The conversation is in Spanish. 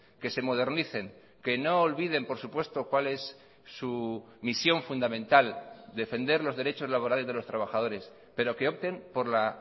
que se modernicen que no olviden por supuesto cuál es su misión fundamental defender los derechos laborales de los trabajadores pero que opten por la